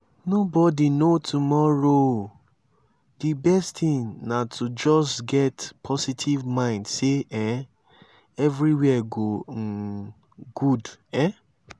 no body know tomorrow di best thing na to just get positive mind sey um everywhere go um good um